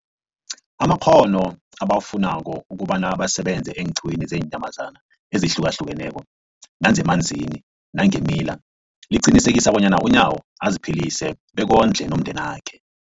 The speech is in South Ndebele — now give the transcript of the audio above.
amakghono ebawafunako ukobana basebenze eenqiwini zeenyamazana ezihlukahlukeneko nezemanzini nangeemila, liqinisekisa bona uNyawo aziphilise bekondle nomndenakhe.